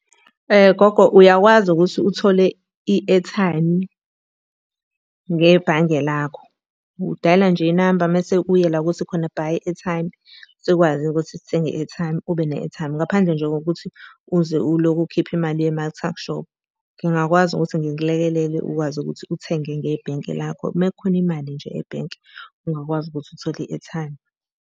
Gogo uyakwazi ukuthi uthole i-airtime ngebhange lakho. Udayela nje inamba mese uye la okuthi khona buy airtime. Sikwazi-ke ukuthi sithenge i-airtime, ube ne-airtime ngaphandle nje kokuthi uze ulokhu ukhipha imali yema-tuckshop. Ngingakwazi ukuthi ngikulekelele ukwazi ukuthi uthenge ngebhenki lakho. Uma kukhona imali nje ebhenki, ungakwazi ukuthi uthole i-airtime.